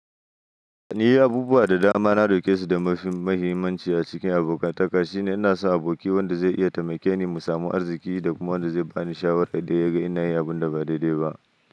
Ni abubuwa da dama na dauke su da mafi muhimmanci a cikin abokantaka shine ina so aboki wanda zai iya taimake ni mu samu arziki da kuma wanda zai bani shawara idan ya ga ina yin abun da ba daidai ba.